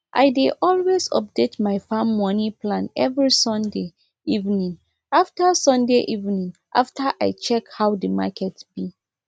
i dey always update my farm moni plan every sunday evening after sunday evening after i check how the market be